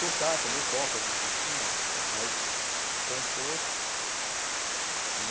Tocar, também toco alguns instrumentos e tal, mas compor.